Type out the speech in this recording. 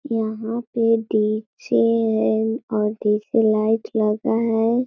यहां पे डीजे है और देखने लाइट लगा है |